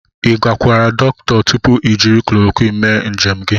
Ị gakwuru dọkịta tupu i jiri chloroquine mee njem gị?